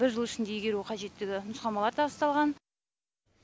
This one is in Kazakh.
бір жыл ішінде игеру қажеттігі нұсқамалар табысталған